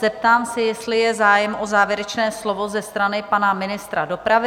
Zeptám se, jestli je zájem o závěrečné slovo ze strany pana ministra dopravy?